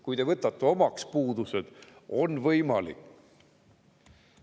Kui te võtate puudused omaks, siis on see võimalik.